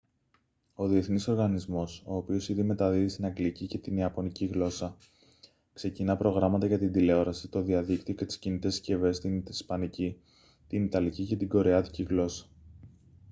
ο διεθνής οργανισμός ο οποίος ήδη μεταδίδει στην αγγλική και την ιαπωνική γλώσσα ξεκινά προγράμματα για την τηλεόραση το διαδίκτυο και τις κινητές συσκευές στην ισπανική την ιταλική και την κορεάτικη γλώσσα